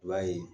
I b'a ye